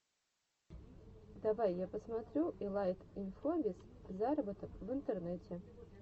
давай я посмотрю илайт инфобиз зароботок в интернете